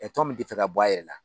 Ɛ tɔn min ti fɛ ka bɔ a yɛrɛ la